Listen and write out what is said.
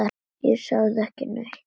Ég sagði ekki neitt.